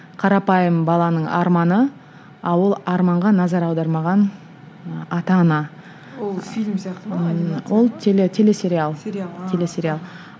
қарапайым баланың арманы а ол арманға назар аудармаған ыыы ата ана ол телесериал телесериал